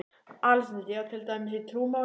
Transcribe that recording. ALEXANDER: Já, til dæmis í trúmálum?